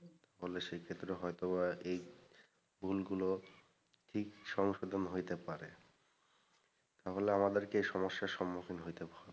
তাহলে সেক্ষেত্রে হয়তো বা এই ভুলগুলো ঠিক সংশোধন হইতে পারে তাহলে আমাদেরকে এই সমস্যার সম্মুখীন হইতে হবেনা।